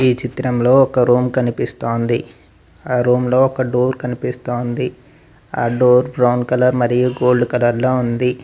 ఈ చిత్రంలో ఒక రూమ్ కనిపిస్తోంది ఆ రూమ్లో ఒక డోర్ కనిపిస్తోంది ఆ డోర్ బ్రౌన్ కలర్ మరియు గోల్డ్ కలర్ లో ఉంది.